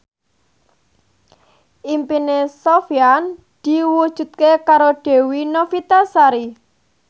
impine Sofyan diwujudke karo Dewi Novitasari